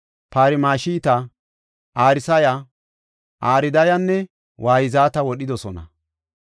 Parmashita, Arsaya, Ardayanne Wayzata wodhidosona.